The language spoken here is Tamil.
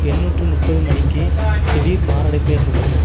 எண்ணூற்று முப்பது மணிக்கு திடீர் மாரடைப்பு ஏற்பட்டது